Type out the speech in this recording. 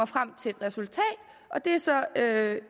frem til et resultat at